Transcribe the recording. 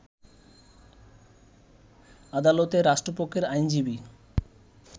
আদালতে রাষ্ট্রপক্ষের আইনজীবী